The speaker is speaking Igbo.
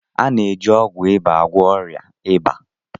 A na-eji ọgwụ ịba agwọ ọrịa ịba.